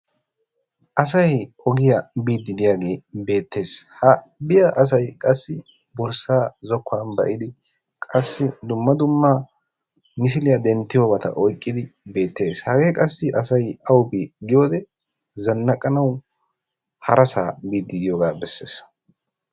Asay ogiya biidi de'iyagee beettees. Ha biya asay qassi borssaa zokkuwan ba'idi qassi dumma dumma misiliya denttiyobata oyqqidi beettees. Hagee qassi asay awa bii giyode zanaqqanawu harassaa biidi de'iyogaa beessees.